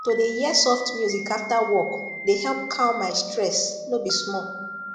to dey hear soft music after work dey help calm my stress no be small